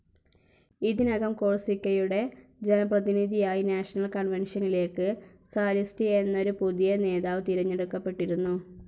ഇതിനകം കോഴ്‌സിക്കയുടെ ജനപ്രതിനിധിയായി നാഷണൽ കൺവെൻഷനിലേക്ക് സാലിസ്റ്റി എന്നൊരു പുതിയ നേതാവ് തിരഞ്ഞെടുക്കപ്പെട്ടിരുന്നു.